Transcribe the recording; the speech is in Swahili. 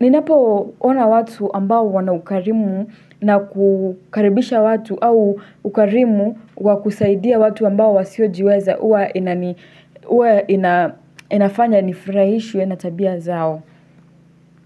Ninapoona watu ambao wana ukarimu na kukaribisha watu au ukarimu wa kusaidia watu ambao wasiojiweza huwa inafanya nifurahishwe na tabia zao.